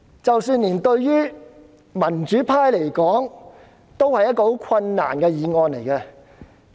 即使對於民主派而言，這項議案亦是一項很困難的議案。